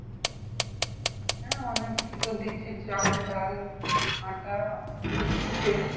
হ্যাঁ অনেককে তো দিচ্ছে চাল ডাল আটা এগুলো দিচ্ছে